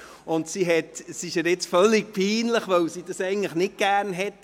Es ist ihr völlig peinlich, weil sie dies nicht gerne hat.